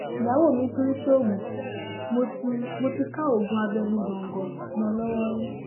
ìyàwó mi tún ń ṣoògùn mo ti mo ti ká oògùn abẹnú góńgó mọ ọn lọwọ rí